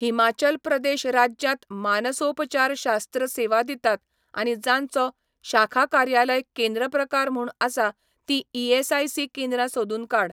हिमाचल प्रदेश राज्यांत मानसोपचारशास्त्र सेवा दितात आनी जांचो शाखा कार्यालय केंद्र प्रकार म्हूण आसा तीं ईआसआयसी केंद्रां सोदून काड.